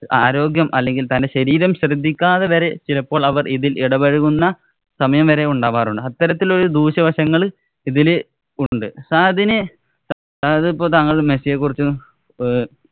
ആരോഗ്യം, അല്ലെങ്കില്‍ തന്‍റെ ശരീരം ശ്രദ്ധിക്കാതെ വരെ ചിലപ്പോള്‍ അവര്‍ ഇതില്‍ ഇടപഴകുന്ന സമയം വരെ ഉണ്ടാകാറുണ്ട്. അത്തരത്തില്‍ ഉള്ള ദൂഷ്യവശങ്ങള്‍ ഇതില് ഉണ്ട്. സഹദിനു താങ്കള്‍ ഇപ്പോള്‍ മെസ്സിയെകുറിച്ചും ഏർ